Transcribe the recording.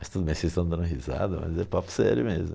Mas tudo bem, vocês estão dando risada, mas é papo sério mesmo.